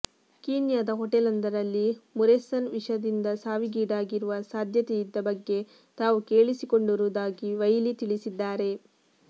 ಕೀನ್ಯಾದ ಹೋಟೆಲೊಂದರಲ್ಲಿ ಮುರೆಸನ್ ವಿಷದಿಂದ ಸಾವಿಗೀಡಾಗಿರುವ ಸಾಧ್ಯತೆಯಿದ್ದ ಬಗ್ಗೆ ತಾವು ಕೇಳಿಸಿಕೊಂಡಿರುವುದಾಗಿ ವೈಲಿ ತಿಳಿಸಿದ್ದಾರೆ